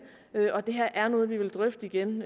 og det her er noget vi vil drøfte igen